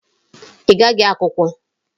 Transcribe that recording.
Ị gaghị akwụkwọ?